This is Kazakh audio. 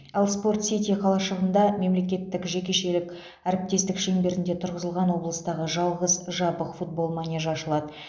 ал спорт сити қалашығында мемлекеттік жекешелік әріптестік шеңберінде тұрғызылған облыстағы жалғыз жабық футбол манежі ашылады